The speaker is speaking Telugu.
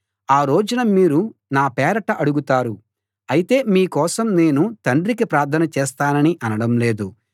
ఆ రోజున మీరు నా పేరట అడుగుతారు అయితే మీ కోసం నేను తండ్రికి ప్రార్థన చేస్తానని అనడం లేదు